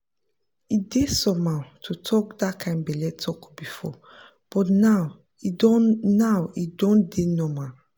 e dey somehow to talk that kind belle talk before but now e don now e don dey normal.